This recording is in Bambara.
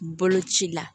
Boloci la